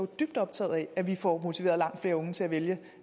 dybt optaget af at vi får motiveret langt flere unge til at vælge